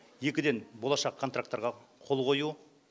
екіден болашақ контаркттарға қол қою